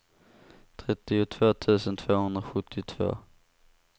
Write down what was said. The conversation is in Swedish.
trettiotvå tusen tvåhundrasjuttiotvå